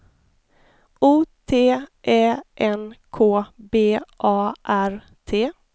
O T Ä N K B A R T